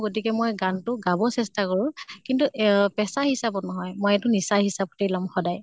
গতিকে মই গান তো গাব মই চেষ্টা কৰোঁ। কিন্ত এঅ পেচা হিচাপত নহয়। মই এইটো নিচা হিচাপতে লম সদায়।